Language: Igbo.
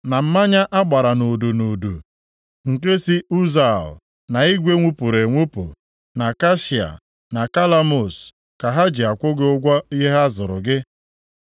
na mmanya a gbara nʼudu nʼudu nke si Ụzal, na igwe nwupụrụ enwupụ, na kashia, na kalamus, ka ha ji akwụ gị ụgwọ ihe ha zụrụ gị.